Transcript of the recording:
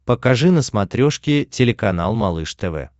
покажи на смотрешке телеканал малыш тв